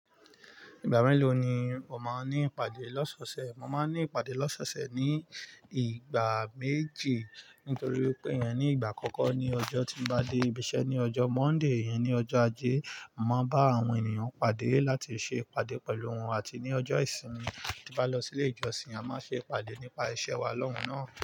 Ìgbà mélòó ni o máa ní ìpàdé lọ́sọ́ṣẹ̀? Mo máa ní ìpàdé lọ́sọ́ṣẹ̀ ní ìgbà méjì. Nítorí pé iyẹn ní ìgbà àkọ́kọ́ ní ọjọ́ tí mo bá dé ibi iṣẹ́ ní ọjọ́ Monday, iyẹn ni ọjọ́ ajé, màá bá àwọn ènìyàn pàdé láti ṣe ìpàdé pẹ̀lú wọn. Àti ní ọjọ́ ìsinmi tí bá lọ sílé ìjọsìn, a máa ṣe ìpàdé nípa ìṣe wa lọ́hùn-ún náà.